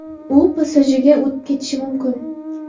U PSJga o‘tib ketishi mumkin.